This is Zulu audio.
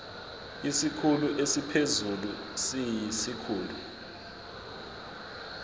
isikhulu esiphezulu siyisikhulu